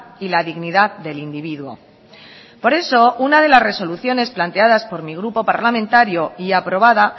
y la dignidad del individuo por eso una de las resoluciones planteadas por mi grupo parlamentario y aprobada